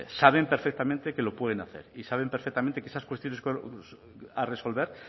saben perfectamente que lo pueden hacer y saben perfectamente que esas cuestiones a resolver